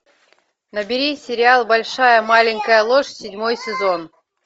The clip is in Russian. набери сериал большая маленькая ложь седьмой сезон